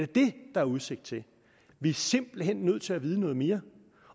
det der er udsigt til vi er simpelt hen nødt til at vide noget mere